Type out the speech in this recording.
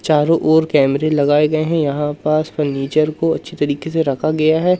चारों ओर कैमरे लगाए गए हैं यहां पास फर्नीचर को अच्छी तरीके से रखा गया है।